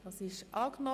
Abstimmung